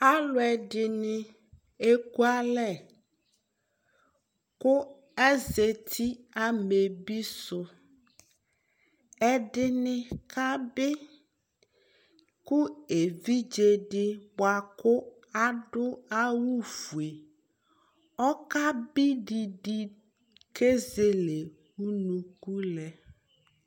alò ɛdini eku alɛ kò azati amɛbi su ɛdini ka bi kò evidze di boa kò adu awu fue ɔka bi didi k'ezele unuku lɛ